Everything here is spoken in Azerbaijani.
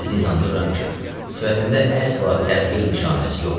Sizi inandırıram ki, sifətində əsla təğyir nişanəsi yox idi.